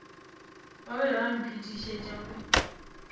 ba be ba mphetišetša go